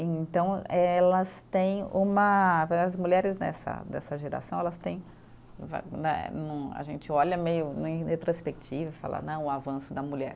Então, elas têm uma. As mulheres dessa dessa geração, elas têm, a gente olha meio em retrospectiva e fala, não, o avanço da mulher.